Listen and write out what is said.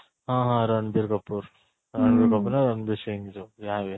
ହଁ ହଁ ରଣବୀର କପୂର